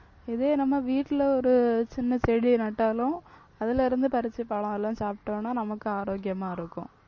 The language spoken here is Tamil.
இதே நம்ம வீட்டுல ஒரு சின்ன செடியை நட்டாலும் அதுலயிருந்து பறிச்சு பழம் எல்லாம் சாப்பிட்டோம்னா நமக்கு ஆரோக்கியமா இருக்கும்.